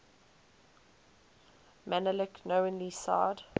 menelik knowingly signed